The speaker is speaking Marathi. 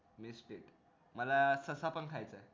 wastage मला ससा पण खायचा